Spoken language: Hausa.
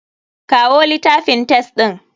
Kawo litafin test ɗin.